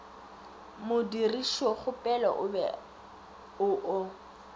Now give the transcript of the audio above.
modirišokgopelo o be o o